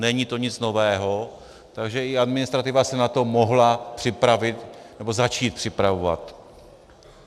Není to nic nového, takže i administrativa se na to mohla připravit nebo začít připravovat.